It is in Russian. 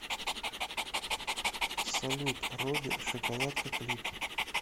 салют робби шоколадка клип